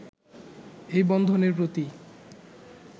এই বন্ধনের প্রতি